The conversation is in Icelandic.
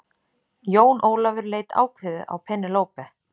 Jón Ólafur leit ákveðið á Penélope.